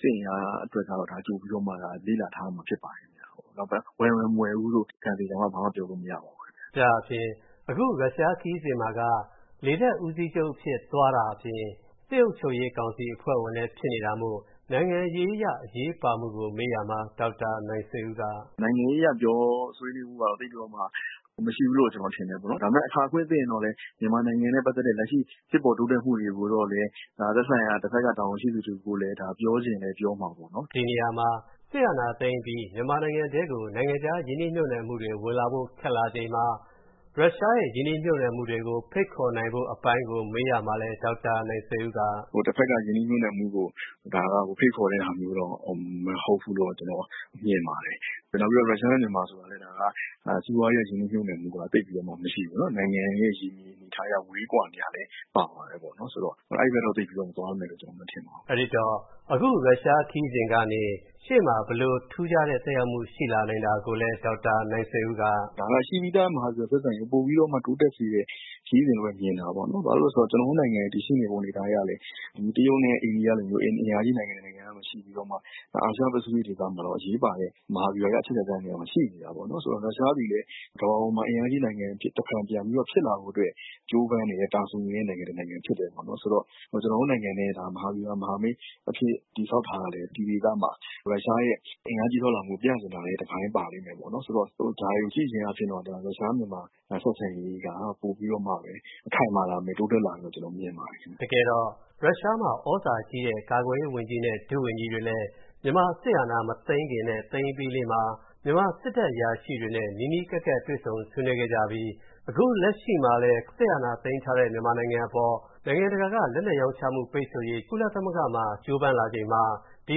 စစ်အင်အားအတွက်ကို ကြိုပြီးတော့မှ လေ့လာထားဖို့ ဖြစ်ပါတယ်။ ဝယ်မယ် မဝယ်ဘူးလို့ ကံသေကံမ ဘာမှ ပြောလို့မရပါဘူး။” ဒါ့အပြင် အခုရုရှားခရီးစဉ်မှာက လေတပ်ဦးစီးချုပ်အဖြစ် သွားတာအပြင် စစ်အုပ်ချုပ်ရေးကောင်စီ အဖွဲ့ဝင်လည်းဖြစ်နေတာမို့ နိုင်ငံရေးအရ အရေးပါမှုကို မေးရာမှာ ဒေါက်တာ နိုင်ဆွေဦးက “နိုင်ငံရေးအရ ပြောဆိုဆွေးနွေးမှုက သိပ်ပြီးတော့မှ မရှိဘူးလို့ ကျနော်ထင်တယ်ပေါ့နော်။ ဒါပေမယ့် အခွင့်အခါသင့်ရင်တော့လည်း မြန်မာနိုင်ငံနဲ့ ပတ်သက်တဲ့ လက်ရှိ ဖြစ်ပေါ်တိုးတက်မှုတွေကိုတော့လည်း သက်ဆိုင်ရာ တဖက်က တာဝန်ရှိသူတဦးကိုလည်း ဒါပြောချင်လည်း ပြောမှာပေါ့နော်။” ဒီနေရာမှာ စစ်အာဏာသိမ်းပြီး မြန်မာနိုင်ငံထဲကို နိုင်ငံခြားရင်းနှီးမြှုပ်နှံမှုတွေ ဝင်လာဖို့ ခက်လာချိန်မှာ ရုရှားရဲ့ ရင်းနှီးမြှုပ်နှံမှုတွေကို ဖိတ်ခေါ်နိုင်ဖို့ အပိုင်းကို မေးရာမှာလည်း ဒေါက်တာ နိုင်ဆွေဦးက “တဖက်က ရင်းနှီးမြှုပ်နှံမှုကို ဖိတ်ခေါ်တဲ့အပိုင်းကတော့ မဟုတ်ဘူးလို့ ကျနော်မြင်ပါတယ်။ နောက်ပြီးတော့ ရုရှားနဲ့ မြန်မာဆိုတာကလည်း စီးပွားရေးအရ ရင်းနှီးမြှုပ်နှံမှုက သိပ်ပြီးတော့မရှိဘူး။ နိုင်ငံအနေရဲ့ ရေမြေအနေအထားရ ဝေးကွာနေတာလည်း ပါတာပေါ့နော်။ ဆိုတော့ အဲဒီဘက်ကတော့ သိပ်ပြီးတော့ သွားမယ်လို့ မထင်ပါဘူး။” အဲဒီတော့ အခုရုရှားခရီးစဉ်ကနေ ရှေ့မှာ ဘယ်လိုထူးခြားတဲ့ သက်ရောက်မှု ရှိလာနိုင်တာကိုလည်း ဒေါက်တာ နိုင်ဆွေဦးက “ဒါက ရှိပြီးသား မဟာဗျူဟာဆက်ဆံရေး ပိုပြီးတော့မှ တိုးတက်စေတဲ့ ခရီးစဉ်လို့ မြင်တာပေါ့နော်။ ဘာဖြစ်လို့လဲဆိုတော့ ကျနော်တို့ နိုင်ငံရဲ့ တည်ရှိနေမှုအနေအထားအရလည်း တရုတ်နဲ့ အိန္ဒိယလိုမျိုး အင်အားကြီးနိုင်ငံ ကြားမှာ ရှိပြီးတော့မှ အာရှပစိဖိတ်ဒေသမှာ အရေးပါတဲ့ မဟာဗျူဟာအရ အချက်အခြာကျတဲ့ နေရာမှာ ရှိနေတာပေါ့နော်။ ဆိုတော့ ရုရှားသည်လည်း ကမ္ဘာပေါ်မှာ အင်အားကြီးနိုင်ငံ တဖန်ပြန်ဖြစ်လာဖို့အတွက် ကြိုးပမ်းနေတယ် တာဆူနေတဲ့ နိုင်ငံဖြစ်တယ်ပေါ့နော်။ ဆိုတော့ ကျနော်တို့ နိုင်ငံနဲ့ မဟာဗျူဟာ မဟာမိတ်အဖြစ် တည်ဆောက်ထားတာလည်း ဒီဒေသမှာ ရုရှားရဲ့ အင်အားကြီးထွားလာမှုကို ပြချင်တာလည်း တပိုင်းပါလိမ့်မယ်ပေါ့နော် ဆိုတော့ ဒါတွေကို ကြည့်ပြီး ရုရှားနဲ့ မြန်မာ ဆက်ဆံရေးက ပိုပြီးတော့ ခိုင်မာ တိုးတက်လာမယ်လို့ ကျနော်မြင်ပါတယ်။” တကယ်တော့ ရုရှားမှု သြဇာကြီးတဲ့ ကာကွယ်ရေးဝန်ကြီးနဲ့ ဒုဝန်ကြီးတွေလည်း မြန်မာစစ်အာဏာ မသိမ်းခင်လေးနဲ့ သိမ်းအပြီးမှာ မြန်မာစစ်တပ်အရာရှိတွေနဲ့ နီးနီးကပ်ကပ် တွေ့ဆုံဆွေးနွေးခဲ့ကြပြီး အခုလက်ရှိမှာလည်း စစ်အာဏာ သိမ်းထားတဲ့ မြန်မာနိုင်ငံအပေါ် နိုင်ငံတကာက လက်နက်ရောင်းချမှု ပိတ်ဆို့ရေး ကုလသမ ဂ္ဂ မှာ ကြိုးပမ်းလာချိန်မှာ၊ ဒီ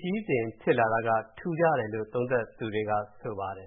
ခရီးစဉ်ဖြစ်လာတာက ထူးခြားတယ်လို့ သုံးသပ်သူတွေက ဆိုပါတယ်